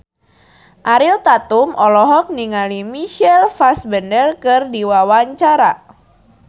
Ariel Tatum olohok ningali Michael Fassbender keur diwawancara